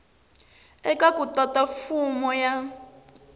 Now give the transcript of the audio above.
eka ku tata fomo ya